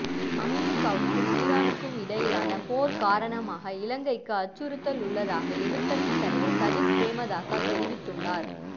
அமரிக்காவுக்கும் ஈரானுக்கும் இடையிலான போர் காரணமாக இலங்கைக்கு அச்சுறுத்தல் உள்ளதாக எதிர்க்கட்சி தலைவர் சஜித் பிரேமதாச தெரிவித்துள்ளார்